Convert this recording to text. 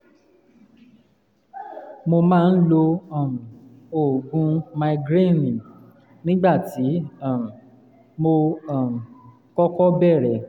mo máa ń lo um oògùn migranil nígbà tí um mo um kọ́kọ́ bẹ̀rẹ̀